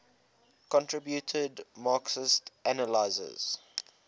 contributed marxist analyses